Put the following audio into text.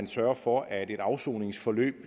sørge for at et afsoningsforløb